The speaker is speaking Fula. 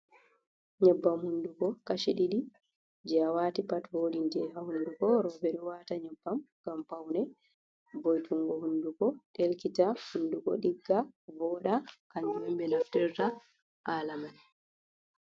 Nyebbam hunduko kashi ɗiɗi je, a wati pat voɗinte ha hunduko. Ɓeɗo wata nyebbam ngam paune vo, itingo hunduko ɗelkita, hunduko ɗigga, voɗa hanjum, on ɓe naftirta halamay.